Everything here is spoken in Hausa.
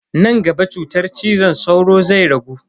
Nan gaba cutar cizon sauro zai ragu.